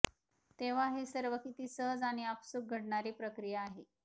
तेव्हा हे सर्व किती सहज आणि आपसुक घडणारी प्रक्रिया आहे